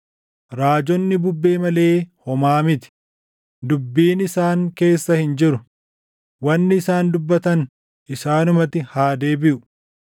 Raajonni bubbee malee homaa miti; dubbiin isaan keessa hin jiru; wanni isaan dubbatan isaanumatti haa deebiʼu.”